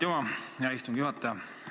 Aitüma, hea istungi juhataja!